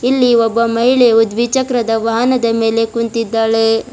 ಎಲ್ಲಿ ಒಬ್ಬ ಮಹಿಳೆಯು ದ್ವಿಚಕ್ರದ ವಾಹನದ ಮೇಲೆ ಕುಂತಿದ್ದಾಳೆ.